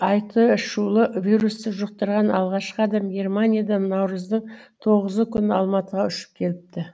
айтышулы вирусты жұқтырған алғашқы адам германиядан наурыздың тоғызы күні алматыға ұшып келіпті